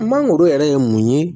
Mangoro yɛrɛ ye mun ye